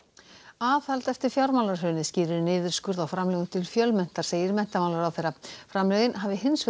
aðhald eftir fjármálahrunið skýrir niðurskurð á framlögum til Fjölmenntar segir menntamálaráðherra framlögin hafi hins vegar